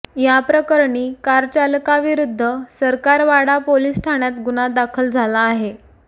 या प्रकरणी कारचालकाविरुद्ध सरकारवाडा पोलिस ठाण्यात गुन्हा दाखल झाला आहे